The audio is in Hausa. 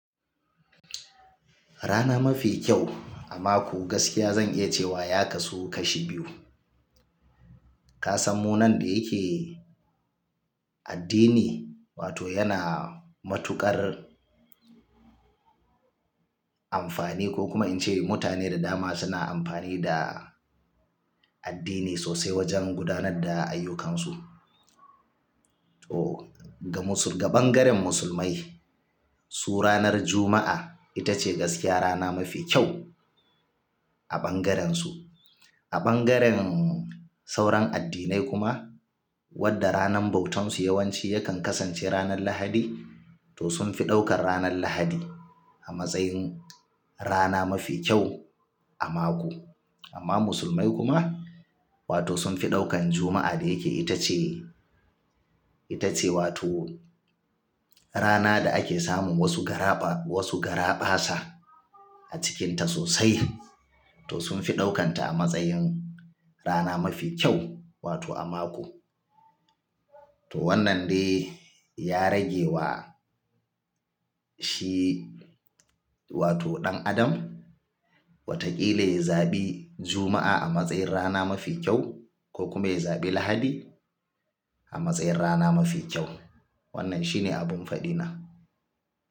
Rana mafi kyau a mako gaskiya zan iya cewa ya kasu kashi biyu. Ka samu nan da yake addini wato yana matuƙar amfani ko kuma in ce mutane da dama suna amfani da addini sosai wajen gudanar da ayyukansu. To ga bangaren musulmai su ranar Juma'a ita ce gaskiya rana mafi kyau a bangaren su. A bangaren sauran addinai kuma wadda ranar bautarsu yawanci yakan kasance ranar Lahadi to sun fi daukar ranar Lahadi a matsayin rana mafi kyau a mako. Amma musulmai kuma wato sun fi daukan Juma'a da yake ita ce, ita ce wato rana da ake samun wasu garaɓa, wasu garaɓa sa a cikinta sosai to sun fi ɗaukanta a matsayin rana mafi kyau wato a mako. To wannan dai ya rage wa shi wato ɗan adam watakila ya zaɓi Juma'a a matsayin rana mafi kyau ko kuma ya zaɓi Lahadi a matsayin rana mafi kyau. Wannan shi ne abin fadi na.